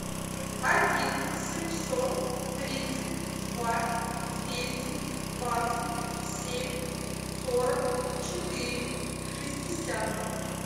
один семьсот тридцать два двести двадцать семь сорок четыре шестьдесят